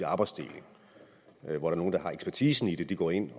arbejdsdeling hvor nogle der har ekspertisen i det går ind